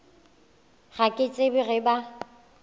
ga ke tsebe ge ba